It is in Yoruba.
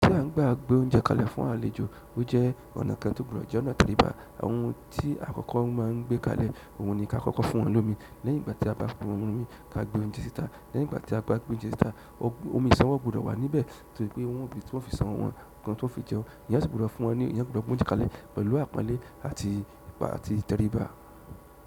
Gbà n bá gbé oúnjẹ kalẹ̀ fún àlejò ó jẹ́ ọ̀nà kan tó gbọdọ̀ jẹ́ ọ̀nà tẹríba. Ohun tí àkọ́kọ́ má a ń gbé kalẹ̀, òun ni kí á kọ́kọ́ fún wọn lómi. Lẹ́yìn ìgbà tí a bá fún wọn lómi yìí, ká gbé oúnjẹ síta. Lẹ́yìn ìgbà tí a bá gbé oúnjẹ síta, omi ìṣanwó gbọdọ̀ wà níbẹ̀ torí pé wọ́n ó fi ṣan ọwọ́ ọ wọn, kí wọ́n tó fi jẹun. Èèyàn sì gbọdọ̀ fún wọn ní, èèyàn gbọdọ̀ gbé oúnjẹ kalẹ̀ pẹ̀lú àpọ́nlé àti ìtẹríba.